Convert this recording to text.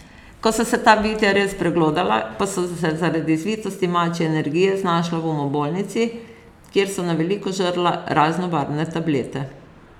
Ko so se ta bitja res preglodala, pa so se zaradi zvitosti mačje energije znašla v umobolnici, kjer so na veliko žrla raznobarvne tablete.